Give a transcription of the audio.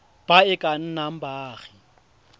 ba e ka nnang baagi